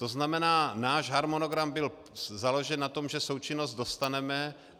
To znamená, náš harmonogram byl založen na tom, že součinnost dostaneme.